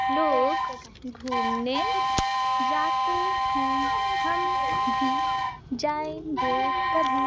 लोग घूमने जाते हैं हम भी जाएंगे कभी--